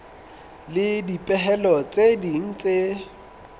le dipehelo tse ding tse